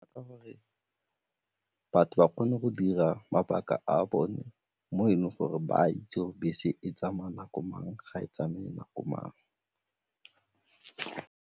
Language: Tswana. Ka gore batho ba kgone go dira mabaka a bone mo e leng gore ba a itse gore bese e tsamaya nako mang ga e tsamaye nako mang.